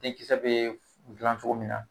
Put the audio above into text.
Denkisɛ bɛ dilan cogo min na